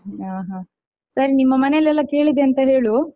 ಹಾ ಹಾ ಸರಿ ನಿಮ್ಮ ಮನೆಲ್ಲೆಲ್ಲಾ ಕೇಳಿದೆ ಅಂತ ಹೇಳು.